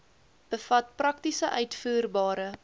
bevat prakties uitvoerbare